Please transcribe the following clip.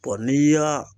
n'i y'a